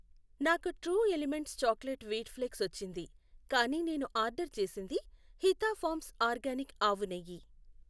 నాకు true elements chocolate wheat flakes వచ్చింది కానీ నేను ఆర్డర్ చేసింది హితా ఫార్మ్స్ ఆర్గానిక్ ఆవునెయ్యి.